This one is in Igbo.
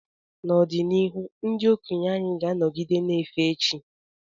N’ọdịnihu, ndị okenye anyị ga-anọgide na-efe chi.